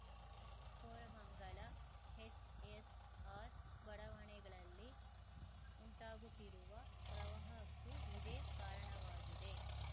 Koramangala HSR ಬಡಾವಣೆಗಳಲ್ಲಿ ಉಂಟಾಗುತ್ತಿರುವ ಪ್ರವಾಹಕ್ಕೂ ಇದೇ ಕಾರಣವಾಗಿದೆ